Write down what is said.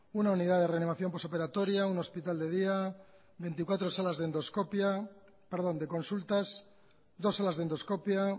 una unidad de reanimación postoperatoria un hospital de día veinticuatro salas de consultas dos salas de endoscopia